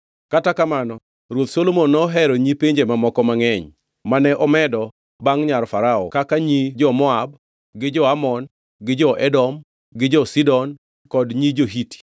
Kata kamano Ruoth Solomon nohero nyi pinje mamoko mangʼeny; mane omedo bangʼ nyar Farao kaka nyi jo-Moab gi jo-Amon gi jo-Edom gi jo-Sidon kod nyi jo-Hiti.